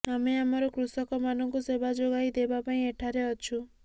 ଆମେ ଆମର କୃଷକମାନଙ୍କୁ ସେବା ଯୋଗାଇ ଦେବା ପାଇଁ ଏଠାରେ ଅଛୁ